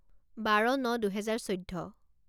বাৰ ন দুহেজাৰ চৈধ্য